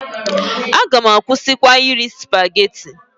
A gam akwụsịkwa iri Supageti.